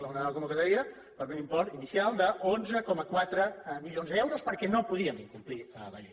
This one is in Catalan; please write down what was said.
una nova convocatòria per un import inicial d’onze coma quatre milions d’euros perquè no podíem incomplir la llei